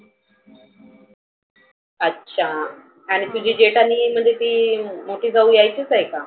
अच्छा. आणि तुझी जेठानी म्हणजे ती मोठी जाऊ यायचीच आहे का?